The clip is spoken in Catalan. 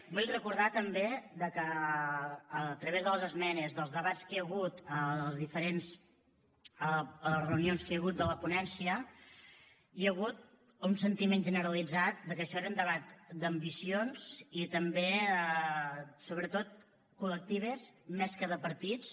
vull recordar també que a través de les esmenes dels debats que hi ha hagut a les diferents reunions que hi ha hagut de la ponència hi ha hagut un sentiment generalitzat de que això era un debat d’ambicions i també sobretot col·lectives més que de partits